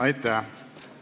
Aitäh!